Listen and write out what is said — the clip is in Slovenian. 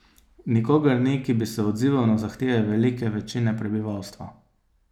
Nikogar ni, ki bi se odzival na zahteve velike večine prebivalstva.